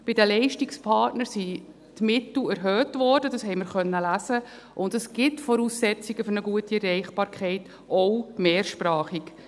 Bei den Leistungspartnern wurden die Mittel erhöht – das konnten wir lesen –, und es gibt Voraussetzungen für eine gute Erreichbarkeit, auch mehrsprachig.